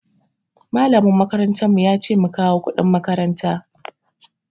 Malamin makarantar mu yace mu kawo kuɗin makaranta.